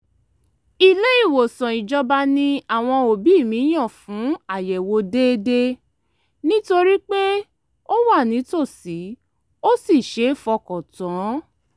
ilé-ìwòsàn ìjọba ni àwọn òbí mi yàn fún àyẹ̀wò déédéé nítorí pé ó wà nítòsí ó sì ṣeé fọkàn tán